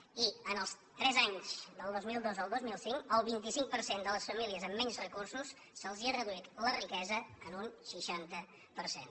i en els tres anys del dos mil dos al dos mil cinc al vint cinc per cent de les famílies amb menys recursos se’ls ha reduït la riquesa en un seixanta per cent